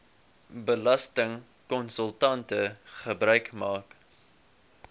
belastingkonsultante gebruik maak